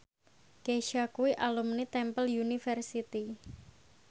Kesha kuwi alumni Temple University